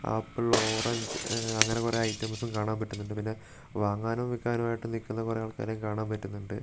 Apple orange ഉം അങ്ങനെ കുറേ ഐറ്റംസും കാണാൻ പറ്റുന്നുണ്ട് പിന്നെ വാങ്ങാനും വിക്കാനുമായിട്ട് നിക്കുന്ന കുറേ ആൾക്കാരെയും കാണാൻ പറ്റുന്നുണ്ട്.